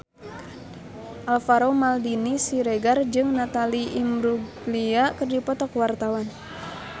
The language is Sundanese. Alvaro Maldini Siregar jeung Natalie Imbruglia keur dipoto ku wartawan